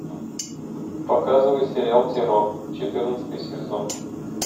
показывай сериал террор четырнадцатый сезон